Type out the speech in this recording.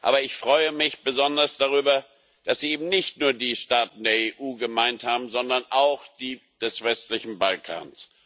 Aber ich freue mich besonders darüber, dass Sie eben nicht nur die Staaten der EU gemeint haben, sondern auch die des westlichen Balkans.